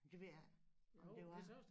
Det ved jeg ikke om det var